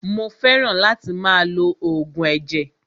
Mó fẹràn láti máa lo oògùn ẹ̀jẹ̀.